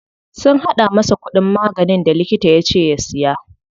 Sun haɗa masa kuɗin maganin da likita yace ya siya.